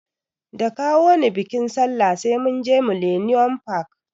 Da kawoni biƙin sallah sai munje millennium park